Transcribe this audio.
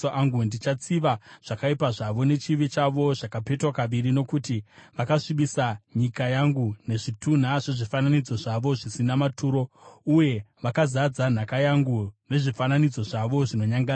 Ndichatsiva zvakaipa zvavo nechivi chavo, zvakapetwa kaviri, nokuti vakasvibisa nyika yangu nezvitunha zvezvifananidzo zvavo zvisina maturo, uye vakazadza nhaka yangu nezvifananidzo zvavo zvinonyangadza.”